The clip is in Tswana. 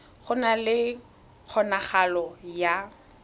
go na le kgonagalo ya